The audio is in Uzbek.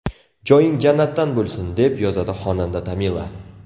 Joying jannatdan bo‘lsin”, deb yozadi xonanda Tamila.